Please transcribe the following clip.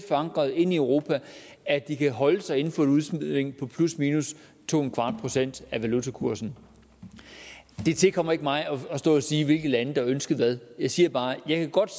forankret i europa at de kan holde sig inden for et udsving på plusminus to procent af valutakursen det tilkommer ikke mig at stå og sige hvilke lande der har ønsket hvad jeg siger bare at jeg godt